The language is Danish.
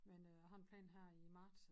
Men øh jeg har en plan her i marts